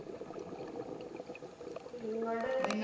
നിങ്ങള്